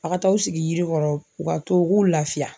A ka taa aw sigi yiri kɔrɔ .U ka to u k'u lafiya.